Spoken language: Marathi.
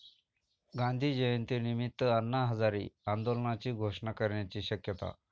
गांधी जयंतीनिमित्त अण्णा हजारे आंदोलनाची घोषणा करण्याची शक्यता